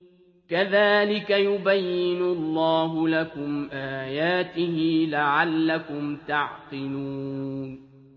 كَذَٰلِكَ يُبَيِّنُ اللَّهُ لَكُمْ آيَاتِهِ لَعَلَّكُمْ تَعْقِلُونَ